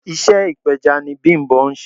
Iṣẹ́ ipeja ni Bimbo ń ṣe.